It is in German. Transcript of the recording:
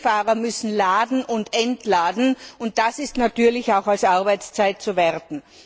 Denn viele Fahrer müssen laden und entladen, und das ist natürlich auch als Arbeitszeit zu werten.